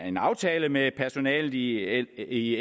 en aftale med personalet i i